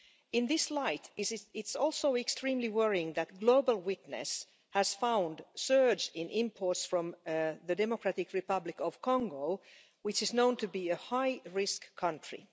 In that context, it is also extremely worrying that Global Witness has found a surge in imports from the Democratic Republic of Congo, which is known to be a high risk country.